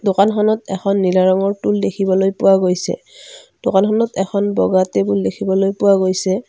দোকানখনত এখন নীলা ৰঙৰ টুল দেখিবলৈ পোৱা গৈছে দোকানখনত এখন বগা টেবুল দেখিবলৈ পোৱা গৈছে।